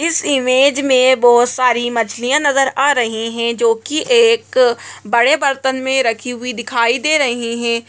इस इमेज में बहुत सारी मछलियाँ नजर आ रही हैं जो की एक बड़े बर्तन में रखी हुई दिखाई दे रही हैं।